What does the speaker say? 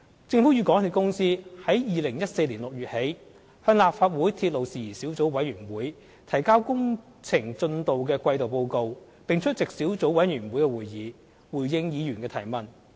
政府與港鐵公司自2014年6月起，向立法會鐵路事宜小組委員會提交工程進度的季度報告，並出席小組委員會會議，回應議員的提問。